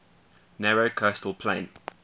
narrow coastal plain